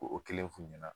O kelen f'u ɲɛna